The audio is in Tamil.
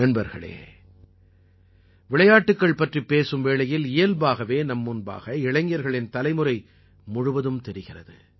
நண்பர்களே விளையாட்டுக்கள் பற்றிப் பேசும் வேளையில் இயல்பாகவே நம் முன்பாக இளைஞர்களின் தலைமுறை முழுவதும் தெரிகிறது